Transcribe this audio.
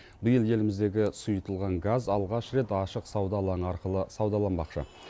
биыл еліміздегі сұйытылған газ алғаш рет ашық сауда алаңы арқылы саудаланбақшы